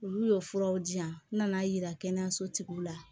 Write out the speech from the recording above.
Olu y'o furaw di yan nan'a yira kɛnɛyaso tigiw la